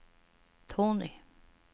Tony